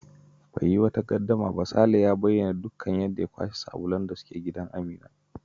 Bai yi wata gaddama ba, Sale ya bayyana yadda ya kwashe dukkan sabulan da suke gida Amina.